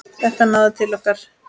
Þetta náði til okkar.